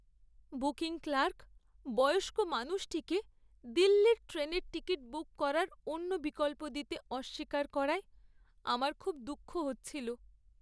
Booking clerk বয়স্ক মানুষটিকে দিল্লির ট্রেনের টিকিট বুক করার অন্য বিকল্প দিতে অস্বীকার করায় আমার খুব দুঃখ হচ্ছিল।